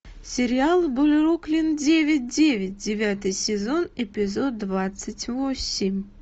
сериал бруклин девять девять девятый сезон эпизод двадцать восемь